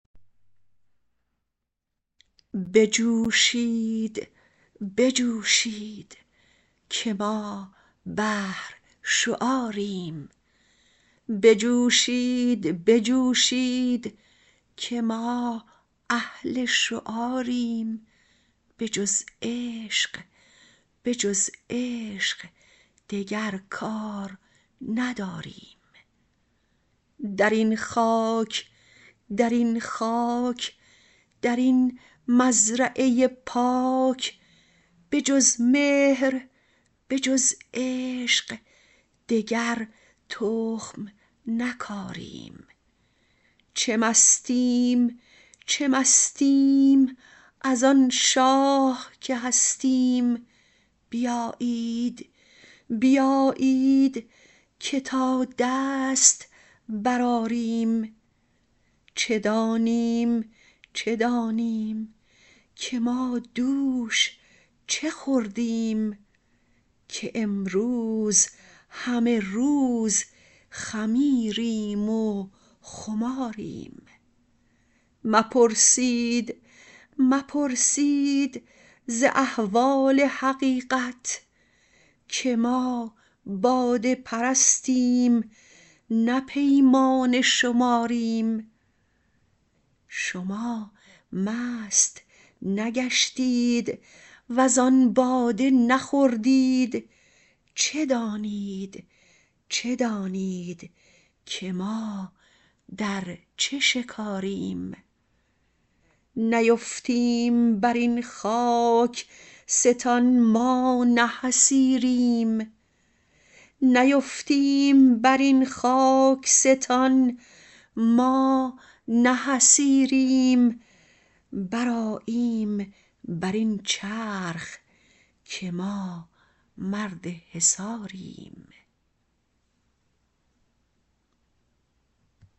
بجوشید بجوشید که ما اهل شعاریم بجز عشق به جز عشق دگر کار نداریم در این خاک در این خاک در این مزرعه پاک به جز مهر به جز عشق دگر تخم نکاریم چه مستیم چه مستیم از آن شاه که هستیم بیایید بیایید که تا دست برآریم چه دانیم چه دانیم که ما دوش چه خوردیم که امروز همه روز خمیریم و خماریم مپرسید مپرسید ز احوال حقیقت که ما باده پرستیم نه پیمانه شماریم شما مست نگشتید وزان باده نخوردید چه دانید چه دانید که ما در چه شکاریم نیفتیم بر این خاک ستان ما نه حصیریم برآییم بر این چرخ که ما مرد حصاریم